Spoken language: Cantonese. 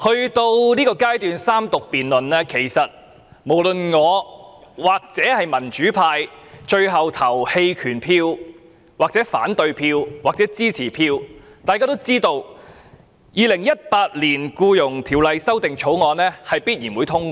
主席，到了三讀辯論階段，無論民主派最後表決棄權或反對或支持，《2018年僱傭條例草案》都必然會通過。